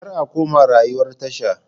Kar a koma rayuwar tasha.